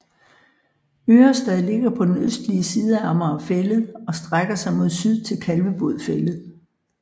Ørestad ligger på den østlige side af Amager Fælled og strækker sig mod syd til Kalvebod Fælled